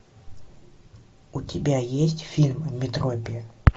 у тебя есть фильм метропия